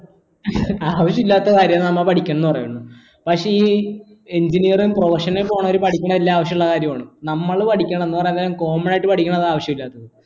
ആവശ്യം ഇല്ലാത്ത കാര്യങ്ങളാണ് നമ്മ പഠിക്കുന്നെ പറയുന്നു പക്ഷേ ഈ engineering professional college പഠിക്കണതെല്ലാം ആവശ്യള്ള കാര്യങ്ങളാണ് നമ്മള് പഠിക്കണ common ആയിട്ട് പഠിക്കണതാണ് ആവിശ്യയില്ലാത്തത്